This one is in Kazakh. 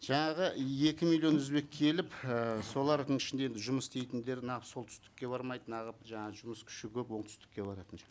жаңағы екі миллион өзбек келіп ііі солардың ішінде енді жұмыс істейтіндер солтүстікке бармайды жаңа жұмыс күші көп оңтүстікке баратын